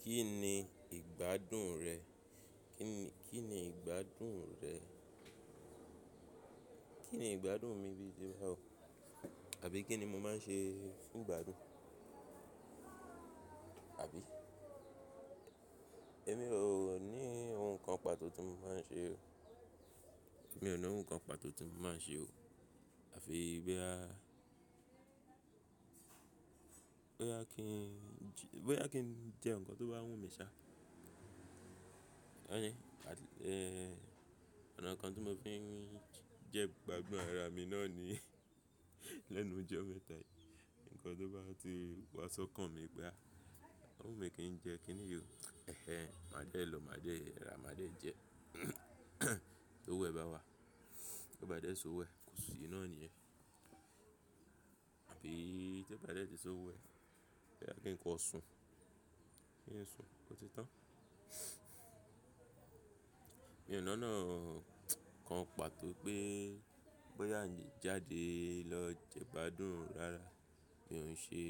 Kí ni ìgbádùn rẹ̀? Kí ni Kí ni ìgbádùn rẹ̀? Kí ni ìgbádùn mi bíi báwo? Àbí kí ni mo máa ń ṣe fún ìgbádùn? Àbí? Èmi ò ní ohun kan pàtó tí mo máa ń ṣe o. Èmi ò ní ohun kan pàtó tí mo máa ń ṣe o. Àfi bóyá, bóyá kí- bóyá kí n jẹ́ ǹkan tó bá wù mí ṣá. Hẹn, ọ̀nà kan tí mo fi ń jẹ́ ìgbádùn ara mi náà ni lẹ́nu ijọ́ mẹ́ta yìí, ǹkan tó bá ti wá sọ́kàn mi pé a, ó wù mí kí n jẹ, kí ni yí o, ẹhẹ, máa dẹ́ lọ, máa dẹ́ rà, máa dẹ́ jẹ. Tó'wó ẹ̀ bá wà, tí ó bá dẹ́ sí owo ẹ̀, kò sì náà nìyen. Àbí tó bá dẹ́ tí s'ówó ẹ̀, bóyá kí ǹkan sùn, kí ń sùn ò ti tán. Mi ò ní ọ̀nà kan pàtó pé, bóyá a n jáde lọ jẹ ìgbádùn rara, mí ò ń ṣe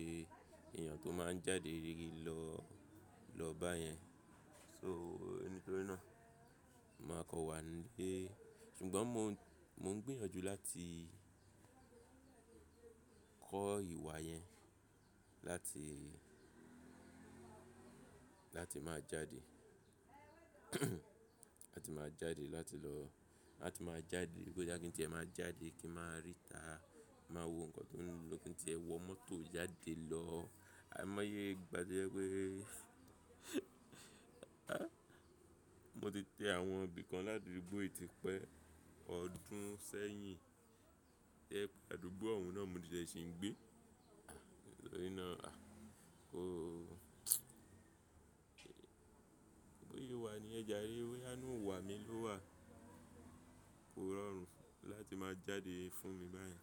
èèyàn tó máa ń jáde re lọ lọ bá yẹn. So, ẹni nítorí náà, màá kọ́ wà nílé. Ṣùgbọ́n mo ń gbìyànjú láti kọ́ ìwà yẹn, láti, láti máa jáde. Láti máa jáde, láti lọ, láti máa jáde, bóyá kí n ti ẹ máa jáde kí n máa rí ìta, máa wo ǹkan tó ńlọ kí n tí ẹ wọ mọ́tò jáde lọ. Àìmọye ìgbà tó jẹ́ pé, mo ti tẹ àwọn ibi kan ládúgbó yi tí pẹ́ ọdún sẹ́yìn. Ẹ́ pe àdúgbò ọ̀hún náà mo ti jẹ́ ṣì ń gbé. Nítorí náà, a, kó, bóyé wà nìyẹn jarè, bóyá inú wà mí ló wà. Kò rọrùn láti máa jáde fún mi báyìí.